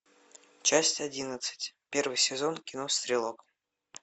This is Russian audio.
часть одиннадцать первый сезон кино стрелок